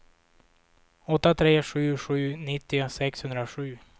åtta tre sju sju nittio sexhundrasju